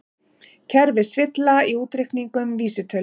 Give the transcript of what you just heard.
Kerfisvilla í útreikningum vísitölu